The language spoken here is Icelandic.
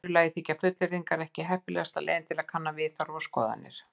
Í öðru lagi þykja fullyrðingar ekki heppilegasta leiðin til að kanna viðhorf og skoðanir.